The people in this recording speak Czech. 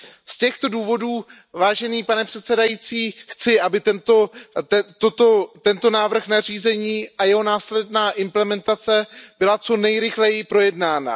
Z těchto důvodů, vážený pane předsedající, chci, aby tento návrh nařízení a jeho následná implementace byly co nejrychleji projednány.